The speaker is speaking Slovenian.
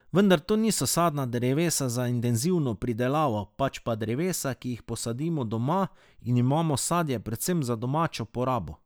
Vendar to niso sadna drevesa za intenzivno pridelavo, pač pa drevesa, ki jih posadimo doma in imamo sadje predvsem za domačo porabo.